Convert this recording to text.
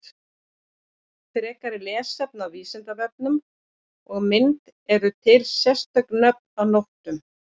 Frekara lesefni á Vísindavefnum og mynd Eru til sérstök nöfn á nóttum?